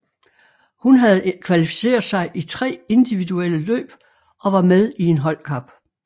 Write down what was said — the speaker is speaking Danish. Hun havde kvalificeret sig i tre individuelle løb og var med i en holdkap